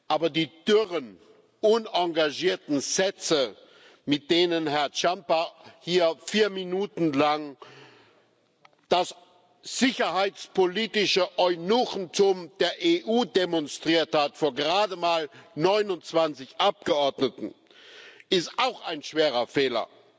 Aber die dürren, unengagierten Sätze, mit denen Herr Ciamba hier vier Minuten lang das sicherheitspolitische Eunuchentum der EU demonstriert hat vor gerade mal 29 Abgeordneten ist auch ein schwerer Fehler.